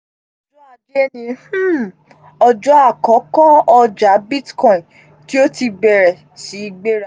ọjọ ajé ni um ọjọ àkọ́kọ́ ọjà cs] bitcoin tí ó ti bẹ̀rẹ̀ sí gbéra